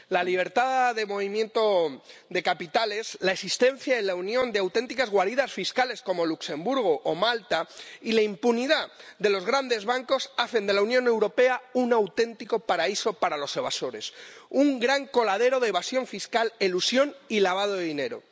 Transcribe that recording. La libertad de movimiento de capitales, la existencia en la Unión de auténticas guaridas fiscales, como Luxemburgo o Malta, y la impunidad de los grandes bancos hacen de la Unión Europea un auténtico paraíso para los evasores un gran coladero de evasión fiscal, elusión y lavado de dinero.